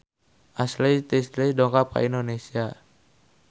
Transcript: Ashley Tisdale dongkap ka Indonesia